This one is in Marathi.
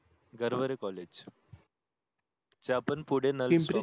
गरवरे college जे आपण पुढे नल stop पिंपरी